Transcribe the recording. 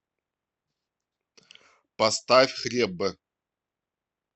поставь хлеб